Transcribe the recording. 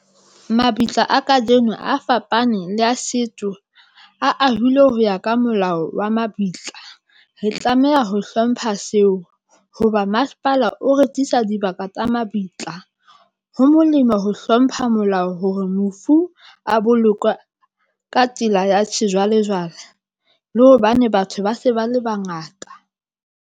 Mabitla a kajeno a fapane le ya setso. A ahilwe ho ya ka molao wa mabitla. Re tlameha ho hlompha seo hoba masepala o rekisa dibaka tsa mabitla. Ho molemo ho hlompha molao hore mofu a bolokwe ka tsela ya sejwalejwale. Le hobane batho ba se ba le bangata.